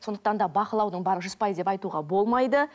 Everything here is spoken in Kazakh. сондықтан да бақылаудың бәрі жүз пайыз деп айтуға болмайды